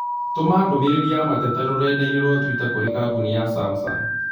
Tũma ndũmĩrĩri ya mateta rũrenda-inī rũa tũita kũrĩ kambuni ya samsung